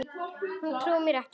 Hann trúði mér ekki